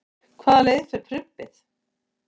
hvaða leið fer prumpið